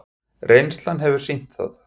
Reynslan hefur sýnt það.